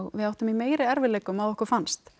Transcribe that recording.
við áttum í meiri erfiðleikum að okkur fannst